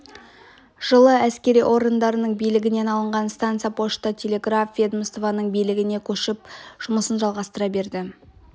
жылы әскери орындардың билігінен алынған станция пошта-телеграф ведомствосының билігіне көшіп жұмысын жалғастыра берді